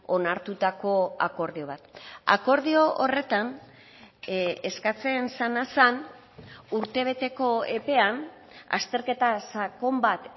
onartutako akordio bat akordio horretan eskatzen zena zen urtebeteko epean azterketa sakon bat